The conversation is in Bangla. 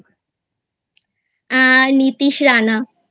a Nitish Rana